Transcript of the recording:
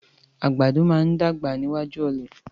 Àgbàdo máa ń dàgbà níwájú ọ̀lẹ.